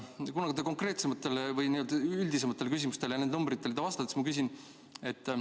Kuna see oli üldisem küsimus nende numbrite kohta, siis ma küsin edasi.